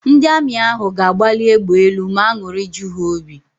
Ndị Amị ahụ ga-agbali égbè elu ma an̄ụrị ju ha óbì.